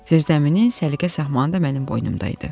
Zirzəminin səliqə-sahmanı da mənim boynumda idi.